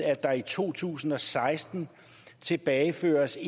at der i to tusind og seksten tilbageføres